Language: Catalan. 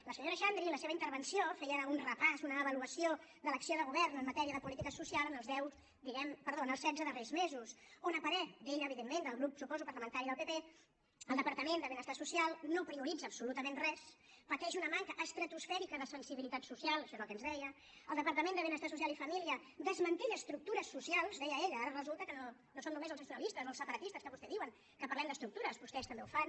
la senyora xandri en la seva intervenció feia un repàs una avaluació de l’acció de govern en matèria de política social en els setze darrers mesos on a parer d’ella evidentment del grup ho suposo parlamentari del pp el departament de benestar social no prioritza absolutament res pateix una manca estratosfèrica de sensibilitat social això és el que ens deia el departament de benestar social i família desmantella estructures socials deia ella ara resulta que no som només els nacionalistes o els separatistes que vostès diuen que parlem d’estructures vostès també ho fan